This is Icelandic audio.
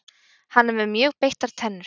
hann er með mjög beittar tennur